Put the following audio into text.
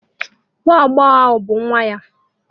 Ee, nwa agbọghọ ahụ bụ nwa ya.